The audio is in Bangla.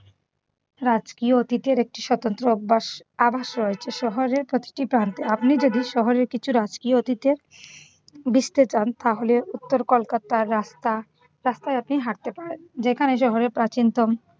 রাজকীয় অতিথের একটি স্বতন্ত্র অভ্যাস আবাস রয়েছে শহরের প্রতিটি প্রান্তে। আপনি যদি শহরের কিছু রাজকীয় অতিথের চান তাহলে উত্তর কলকাতার রাস্তা রাস্তায় আপনি হাঁটতে পারেন। যেখানে শহরের প্রাচীনতম।